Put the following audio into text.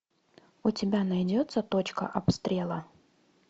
у тебя найдется точка обстрела